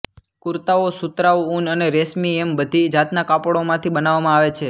કુર્તાઓ સૂતરાઉ ઊન અને રેશમી એમ બધી જાતનાં કાપડોમાંથી બનાવવામાં આવે છે